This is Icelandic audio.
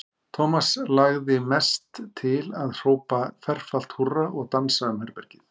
Thomas langaði mest til að hrópa ferfalt húrra og dansa um herbergið.